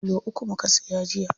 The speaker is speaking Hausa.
Kilo uku muka siya jiya.